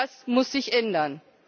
Das muss sich ändern.